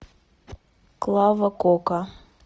клава кока